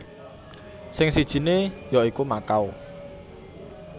Sing sijiné ya iku Makau